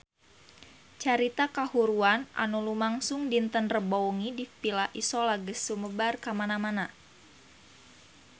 Carita kahuruan anu lumangsung dinten Rebo wengi di Villa Isola geus sumebar kamana-mana